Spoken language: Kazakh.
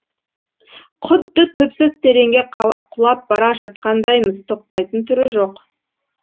құдды түпсіз тереңге құлап бара жатқандаймыз тоқтайтын түрі жоқ